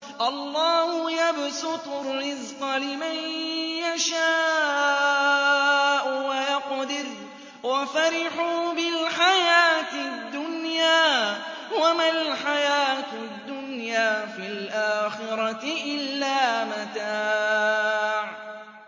اللَّهُ يَبْسُطُ الرِّزْقَ لِمَن يَشَاءُ وَيَقْدِرُ ۚ وَفَرِحُوا بِالْحَيَاةِ الدُّنْيَا وَمَا الْحَيَاةُ الدُّنْيَا فِي الْآخِرَةِ إِلَّا مَتَاعٌ